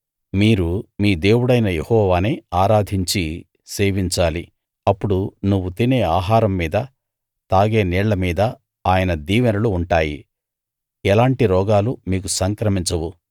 మీరు మీ దేవుడైన యెహోవానే ఆరాధించి సేవించాలి అప్పుడు నువ్వు తినే ఆహారం మీదా తాగే నీళ్ళ మీదా ఆయన దీవెనలు ఉంటాయి ఎలాంటి రోగాలూ మీకు సంక్రమించవు